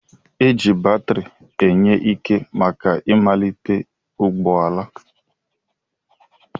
Eji batiri enye ike màkà ịmalite ụgbọala.